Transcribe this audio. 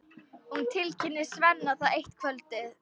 Hún tilkynnir Svenna það eitt kvöldið.